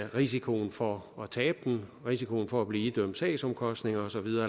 risikoen for at tabe den risikoen for at blive idømt sagsomkostninger og så videre